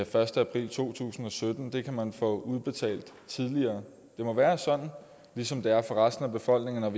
første april to tusind og sytten kan man få udbetalt tidligere det må være sådan ligesom det er for resten af befolkningen at